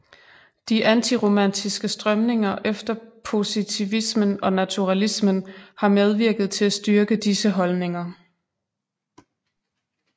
De antiromantiske strømninger efter positivismen og naturalismen har medvirket til at styrke disse holdninger